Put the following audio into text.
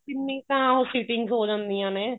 ਕਿੰਨੀ ਤਾਂ ਉਹ sitting ਹੋ ਜਾਂਦੀਆਂ ਨੇ